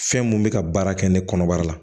Fɛn mun bɛ ka baara kɛ ne kɔnɔbara la